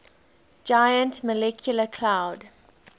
giant molecular cloud